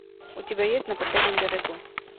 у тебя есть на последнем берегу